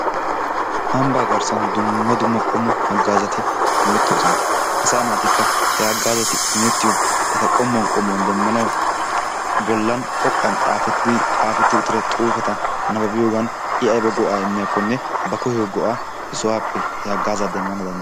Ambbaa garssan dumma dumma qommo haggaazati imettoosona. Asaa naatikka he haggaazati imettiyo eta qommuwan qommuwan demmanawu bollan xoqqan xaafetti uttira xuufeta nabbabiyogan I ayba go'aa immiyakkonne ba koyiyo go'aa he sohaappe he haggaazaa demmana danddaye,,,